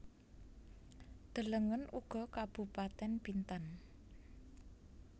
Delengen uga Kabupatèn Bintan